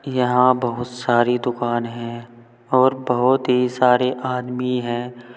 यहां बहुत सारी दुकान हैं और बहुत ही सारे आदमी हैं।